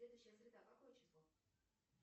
следующая среда какое число